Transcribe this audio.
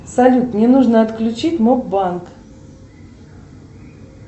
салют мне нужно отключить моб банк